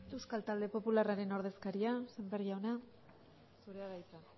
euskal talde popularraren ordezkaria sémper jauna zurea da hitza